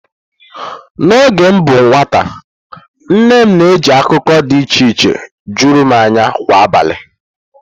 N'oge m bụ nwata, nne nne m na-eji akụkọ dị iche iche juru m anya kwa abalị.